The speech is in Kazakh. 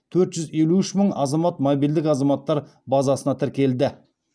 төрт жүз елу үш мың азамат мобильдік азаматтар базасына тіркелді